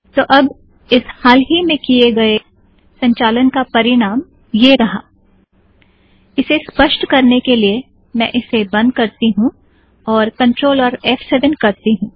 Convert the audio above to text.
तो अब इस हाल ही में किये गए संचालन का परिणाम यह रहा इसे स्पष्ट करने के लिए मैं इसे बंद करती हूँ और CTRL और फ़7 करती हूँ